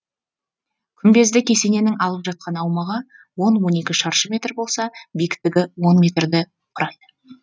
күмбезді кесененің алып жатқан аумағы он он екі шаршы метр болса биіктігі он метрді құрайды